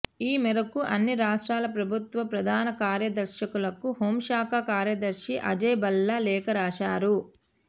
ఈ మేరకు అన్ని రాష్ట్రాల ప్రభుత్వ ప్రధాన కార్యదర్శులకు హోంశాఖ కార్యదర్శి అజయ్ భల్లా లేఖ రాశారు